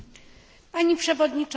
Pani przewodnicząca!